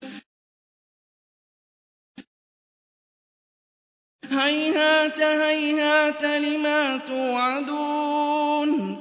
۞ هَيْهَاتَ هَيْهَاتَ لِمَا تُوعَدُونَ